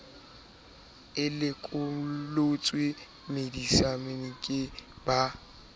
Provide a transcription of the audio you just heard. e le lekomonisi baokamedi ba